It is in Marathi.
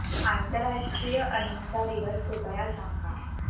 आंतरराष्ट्रीय अहिंसा दिवस कृपया सांगा